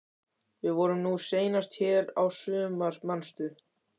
Við vorum nú seinast hér í sumar, manstu?